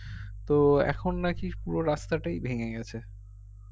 তো এখন নাকি পুরো রাস্তাটাই ভেঙে গেছে